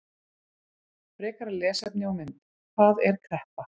Frekara lesefni og mynd: Hvað er kreppa?